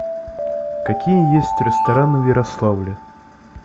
какие есть рестораны в ярославле